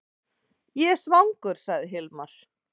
Ég er svangur, sagði Hilmar.